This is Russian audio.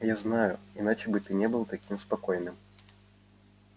я знаю иначе бы ты не был таким спокойным